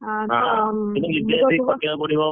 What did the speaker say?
ନିଜେ ବସି ଖଟିବାକୁ ପଡିବ।